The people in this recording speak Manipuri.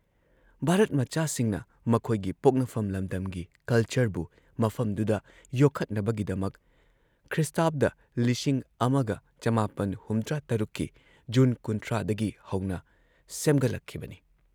ꯚꯥꯔꯠ ꯃꯆꯥꯁꯤꯡꯅ ꯃꯈꯣꯏꯒꯤ ꯄꯣꯛꯅꯐꯝ ꯂꯝꯗꯝꯒꯤ ꯀꯜꯆꯔꯕꯨ ꯃꯐꯝꯗꯨꯗ ꯌꯣꯛꯈꯠꯅꯕꯒꯤꯗꯃꯛ ꯈ꯭ꯔꯤ: ꯱꯹꯷꯶ ꯀꯤ ꯖꯨꯟ ꯳꯰ ꯗꯒꯤ ꯍꯧꯅ ꯁꯦꯝꯒꯠꯂꯛꯈꯤꯕꯅꯤ ꯫